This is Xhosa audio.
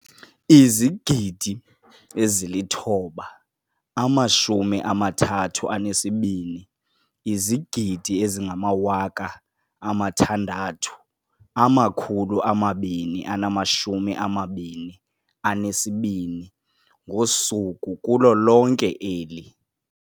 9 032 622 ngosuku kulo lonke eli.